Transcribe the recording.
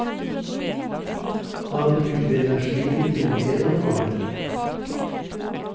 Han bruker energien til mer enn å male.